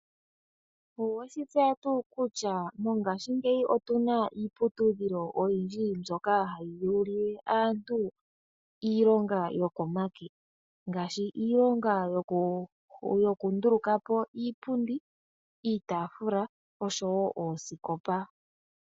Oweshi tseya tuu kutya mongashi ngeyi otuna iiputudhilo oyindji mboka hayi longo aantu iilonga yokomake ngaashi iilonga yoku ndulukapo iipundi, iitafula noosikopa.